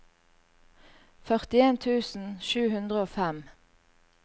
førtien tusen sju hundre og fem